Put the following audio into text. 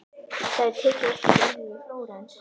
Það er tekið eftir Gerði í Flórens.